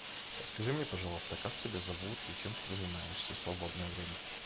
расскажи мне пожалуйста как тебя зовут и чем ты занимаешься в свободное время